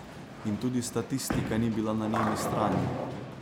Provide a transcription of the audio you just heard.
In tudi statistika ni bila na njeni strani.